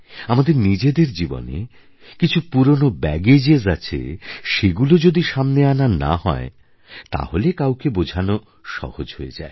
আমাদের নিজেদের জীবনে কিছু পুরোনো ব্যাগেজ আছে সেগুলো যদি সামনে আনা না হয় তাহলে কাউকে বোঝানো সহজ হয়ে যায়